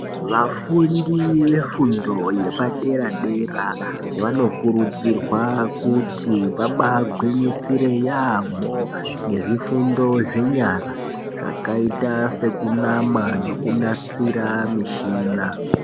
Vafundi vefundo yepadera-dera vanokurudzirwa kuti vabaagwinyisire yaamho ngezvifundo zvenyara zvakaita sekunama nekunasira mishina.